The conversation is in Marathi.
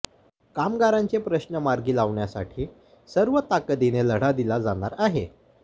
कामगारांचे प्रश्न मार्गी लावण्यासाठी सर्व ताकदीने लढा दिला जाणार आहे